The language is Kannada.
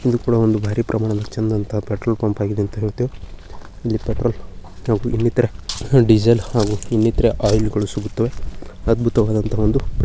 ಇದು ಕೂಡಾ ಒಂದು ಭಾರಿ ಪ್ರಮಾಣದ ಚೆಂದಂತ ಪೆಟ್ರೋಲ್ ಪಂಪಾಗಿದೆ ಅಂತ ಹೇಳುತ್ತೇವೆ ಇಲ್ಲಿ ಪೆಟ್ರೋಲ್ ಹಾಗು ಇನ್ನಿತರ ಡೀಸೆಲ್ ಹಾಗು ಇನ್ನಿತರ ಒಯಿಲ್ಗಳು ಸಿಗುತ್ತವೆ ಅದ್ಭುತವಾದನಂತಹ ಒಂದು --